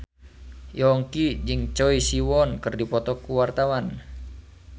Yongki jeung Choi Siwon keur dipoto ku wartawan